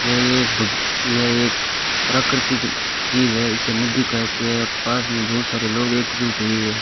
यह एक यह एक प्राकृतिक चीज है इसे नदी कहते है पास में बहुत सारे लोग एक जुट हुए है।